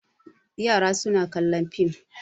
Yara suna kallon fim.